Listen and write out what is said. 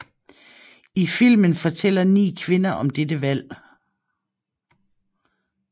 I filmen fortæller ni kvinder om dette valg